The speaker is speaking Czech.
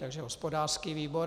Takže hospodářský výbor.